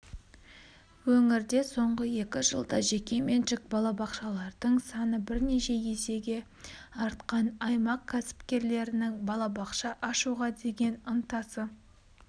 өңірде соңғы екі жылда жекеменшік балабақшалардың саны бірнеше есеге артқан аймақ кәсіпкерлерінің балабақша ашуға деген ынтасы